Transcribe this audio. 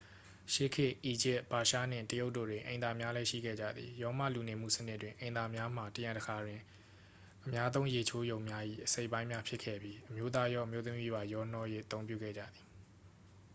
ရှေးခတ် အီဂျစ် ပါရှားနှင့် တရုတ်တို့တွင် အိမ်သာများလည်း ရှိခဲ့ကြသည် ရောမလူနေမှုစနစ်တွင် အိမ်သာများမှာ တစ်ခါတစ်ရံတွင် အများသုံးရေချိုးရုံများ၏ အစိတ်အပိုင်များ ဖြစ်ခဲ့ပြီး အမျိုးသားရော အမျိုးသမီးပါ ရောနှော၍ အသုံးပြုခဲ့ကြသည်